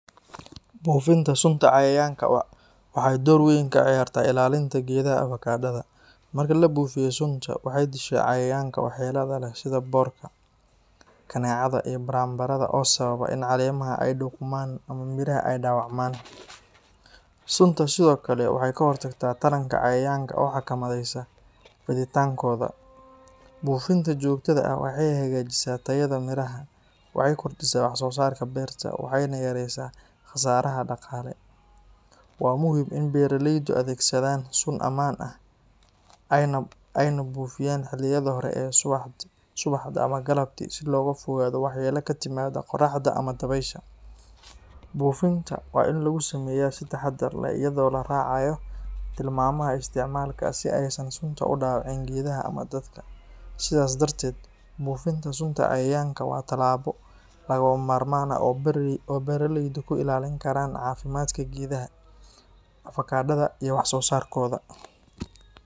Buufinta sunta cayayaanka waxay door weyn ka ciyaartaa ilaalinta geedaha avokado-da. Marka la buufiyo sunta, waxay dishaa cayayaanka waxyeellada leh sida boorka, kaneecada, iyo baranbarada oo sababa in caleemaha ay qudhmaan ama midhaha ay dhaawacmaan. Sunta sidoo kale waxay ka hortagtaa taranka cayayaanka oo xakameysa fiditaankooda. Buufinta joogtada ah waxay hagaajisaa tayada midhaha, waxay kordhisaa wax-soosaarka beerta, waxayna yareysaa khasaaraha dhaqaale. Waa muhiim in beeraleydu adeegsadaan sun ammaan ah, ayna buufiyaan xilliyada hore ee subaxda ama galabtii si looga fogaado waxyeello ka timaada qorraxda ama dabaysha. Buufinta waa in lagu sameeyaa si taxaddar leh, iyadoo la raacayo tilmaamaha isticmaalka si aysan sunta u dhaawicin deegaanka ama dadka. Sidaas darteed, buufinta sunta cayayaanka waa tallaabo lagama maarmaan ah oo beeraleydu ku ilaalin karaan caafimaadka geedaha avokado-da iyo wax-soosaarkooda.